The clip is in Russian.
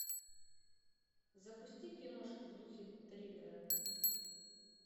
запусти киношку в духе триллера